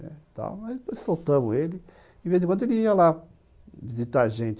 Tal, depois soltamos ele e, de vez em quando, ele ia lá visitar a gente.